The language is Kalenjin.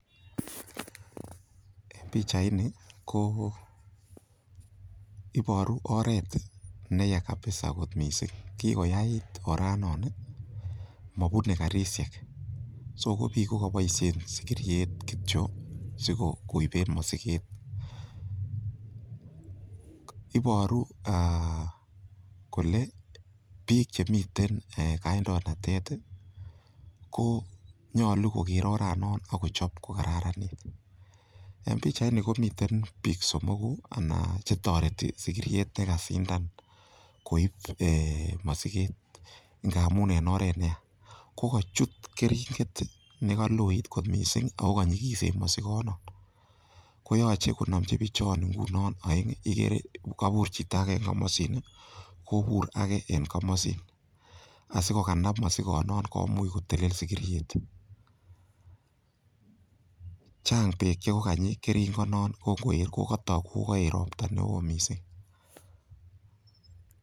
En pichaini ko iboru oret ne yaa kabisa kot mising. Kigoyaait oranon mobune karishek, so ko biik ko koboishen sigiriet kityo sikoiben mosiket. Iboru kole biik chemiten kandoinatet ko nyolu koger oranon ak kochob kokararanit. En pichaini komiten biik somogu che toreti sigiriet ye kasindan koib mosiget ngamun en oret ne yaa. Ko kochut keringet ne kaloit mising ago kanyikisen mosikonon koyoche konomchi bichon oeng igere kobur chito age en komosin kobur age en komosin asikokanab mosigonon komuch kotelel sigiriet. Chang beek che koganyi keringonon, kotok kogaeet ropta mising.